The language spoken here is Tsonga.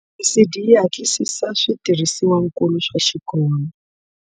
ASIDI yi hatlisisa switirhisiwankulu swa xikolo.